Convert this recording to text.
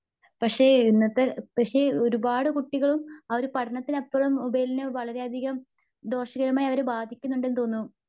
പക്ഷെ ഇന്നത്തെ പക്ഷെ ഒരുപാട് കുട്ടികളും അവരുടെ പഠനത്തിനപ്പുറം മൊബൈലിനെ വളരെയധികം ദോഷകരമായി അവരെ ബാധിക്കുന്നുണ്ടെന്നു തോന്നുന്നു.